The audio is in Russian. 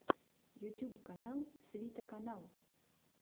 ютюб канал свита канал